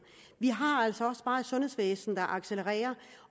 vi har altså også bare et sundhedsvæsen der accelererer